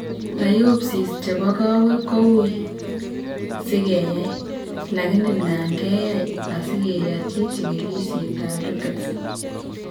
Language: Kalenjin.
Biopsies chebo kaweg ko uui sikeyaai , lakini nan keyai asikeyachichigilisiet ab rickets